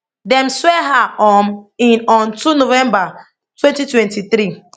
dem swear her um in on two november twenty twenty three